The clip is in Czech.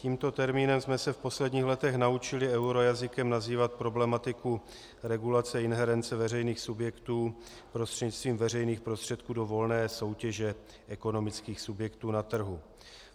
Tímto termínem jsme se v posledních letech naučili eurojazykem nazývat problematiku regulace inherence veřejných subjektů prostřednictvím veřejných prostředků do volné soutěže ekonomických subjektů na trhu.